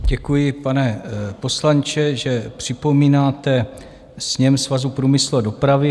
Děkuji, pane poslanče, že připomínáte sněm Svazu průmyslu a dopravy.